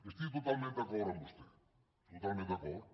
estic totalment d’acord amb vostè totalment d’acord